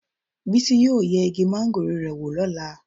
Bísí yóò yẹ igi máńgòrò rẹ̀ wò lọ́la.